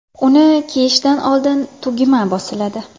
Uni kiyishdan oldin tugma bosiladi.